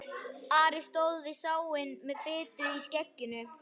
Ari stóð við sáinn með fitu í skegginu.